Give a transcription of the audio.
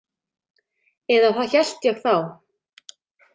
Eða það hélt ég þá.